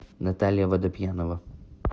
наталья водопьянова